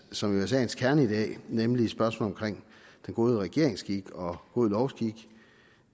som jo er sagens kerne i dag nemlig spørgsmålet om god regeringsskik og god lovskik